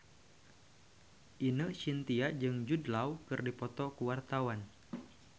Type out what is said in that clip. Ine Shintya jeung Jude Law keur dipoto ku wartawan